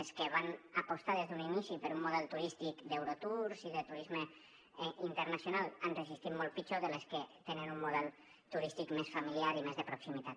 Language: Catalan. les que van apostar des d’un inici per un model turístic d’nal han resistit molt pitjor que les que tenen un model turístic més familiar i més de proximitat